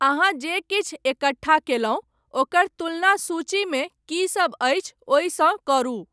अहाँ जे किछु एकट्ठा कयलहुँ ओकर तुलना सूचीमे कीसभ अछि ओहिसँ करू।